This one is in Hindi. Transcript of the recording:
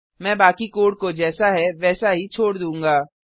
मैं बाकी कोड को जैसा है वैसा ही छोड़ दूंगा